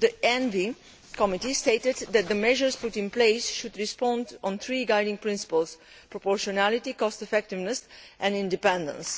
the Committee on the Environment stated that the measures put in place should respond to three guiding principles proportionality, cost effectiveness and independence.